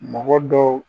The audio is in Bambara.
Mɔgɔ dɔw